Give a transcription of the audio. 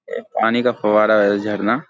एक पानी का फव्वारा है झरना।